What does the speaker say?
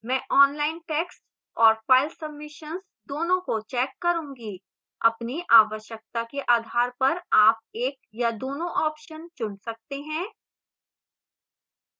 मैं online text और file submissions दोनों को check करूंगी अपनी आवश्यकता के आधार पर आप एक या दोनों options चुन सकते हैं